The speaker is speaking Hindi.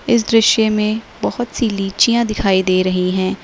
इस दृश्य में बहोत सी लिचियां दिखाई दे रही हैं।